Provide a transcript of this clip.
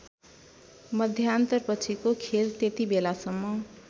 मध्यान्तरपछिको खेल त्यतिबेलासम्म